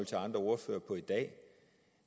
til andre ordførere i dag